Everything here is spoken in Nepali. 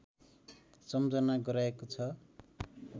सम्झना गराएको छ